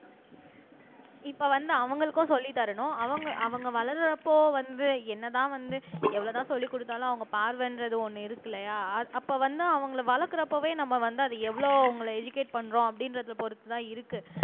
இப்ப வந்து அவங்களுக்கும் சொல்லித் தரணும் அவங்க அவங்க வளர்றப்போ வந்து என்னதான் வந்து எவ்வளவுதான் சொல்லிக் கொடுத்தாலும் அவங்க பார்வைன்றது ஒண்ணு இருக்கில்லையா அப்ப வந்து அவங்களை வளர்க்கிறப்பவே நம்ம வந்து அதை எவ்வளவு அவங்களை எஜுகேட் பண்றோம் அப்படின்றதை பொறுத்துதான் இருக்கு